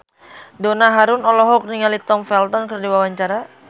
Donna Harun olohok ningali Tom Felton keur diwawancara